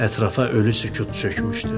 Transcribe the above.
Ətrafa ölü sükut çökmüşdü.